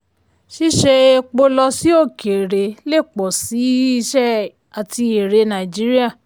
ṣíṣe epo lọ sí òkèèrè lè pọ̀ sí iṣẹ́ àti èrè nàìjíríà.